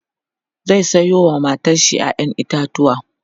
zai Sayo wa matar shi ƴaƴan itatauwa